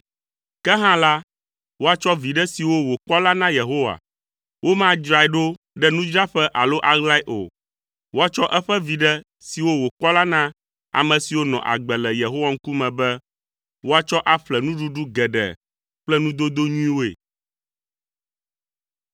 Ke hã la, woatsɔ viɖe siwo wòkpɔ la na Yehowa. Womadzrae ɖo ɖe nudzraɖoƒe alo aɣlae o. Woatsɔ eƒe viɖe siwo wòkpɔ la na ame siwo nɔ agbe le Yehowa ŋkume be, woatsɔ aƒle nuɖuɖu geɖe kple nudodo nyuiwoe.